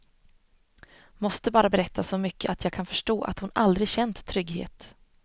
Måste bara berätta så mycket att jag kan förstå att hon aldrig känt trygghet.